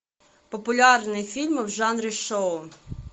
популярные фильмы в жанре шоу